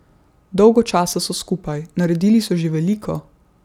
Dolgo časa so skupaj, naredili so že veliko.